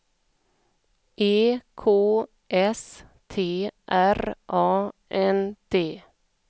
E K S T R A N D